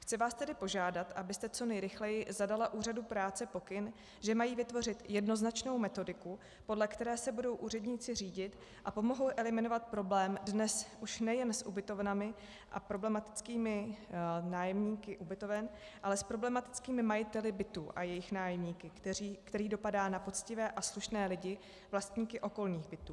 Chci vás tedy požádat, abyste co nejrychleji zadala úřadům práce pokyn, že mají vytvořit jednoznačnou metodiku, podle které se budou úředníci řídit, a pomohou eliminovat problém dnes už nejen s ubytovnami a problematickými nájemníky ubytoven, ale s problematickými majiteli bytů a jejich nájemníky, který dopadá na poctivé a slušné lidi, vlastníky okolních bytů.